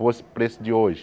Fosse o preço de hoje.